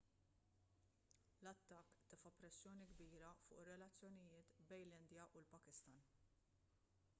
l-attakk tefa' pressjoni kbira fuq ir-relazzjonijiet bejn l-indja u l-pakistan